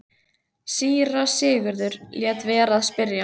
Síra Sigurður lét vera að spyrja.